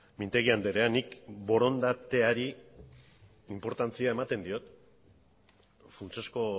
mintegi andrea nik borondateari inportantzia ematen diot funtsezko